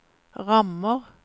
rammer